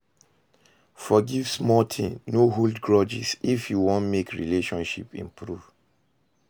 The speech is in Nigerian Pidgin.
Forgive small thing, no hold grudges if you want make relationship improve